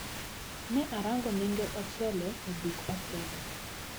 Ne arango nengo ochele e duk ochele.